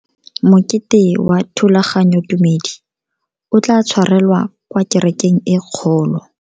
Mokete wa thulaganyotumedi o tla tshwarelwa kwa kerekeng e kgolo.